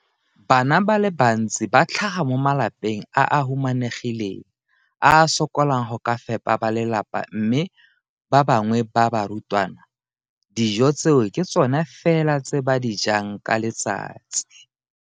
Bana ba le bantsi ba tlhaga mo malapeng a a humanegileng a a sokolang go ka fepa ba lelapa mme ba bangwe ba barutwana, dijo tseo ke tsona fela tse ba di jang ka letsatsi.